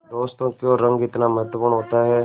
दोस्तों क्यों रंग इतना महत्वपूर्ण होता है